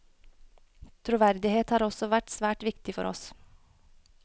Troverdighet har også vært svært viktig for oss.